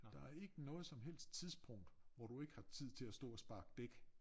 Der ikke noget som helst tidspunkt hvor du ikke har tid til at stå og sparke dæk